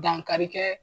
Dankarikɛ